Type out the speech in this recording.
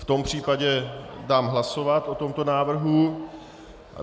V tom případě dám hlasovat o tomto návrhu.